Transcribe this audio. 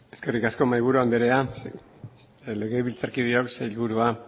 eskerrik asko mahaiburu andrea legebiltzarkideok sailburua